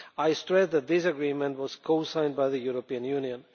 I stress that this agreement was co signed by the European Union.